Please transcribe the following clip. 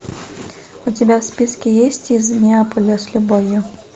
у тебя в списке есть из неаполя с любовью